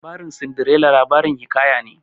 Labarin Sindirela labarin hiƙaya ne